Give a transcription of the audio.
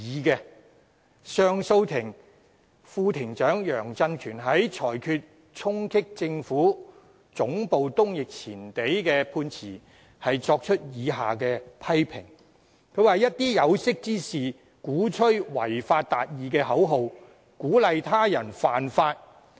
上訴法庭副庭長楊振權在裁決衝擊政府總部東翼前地一案的判詞中，便作出了以下批評："一些有識之士，鼓吹'違法達義'的口號，鼓勵他人犯法。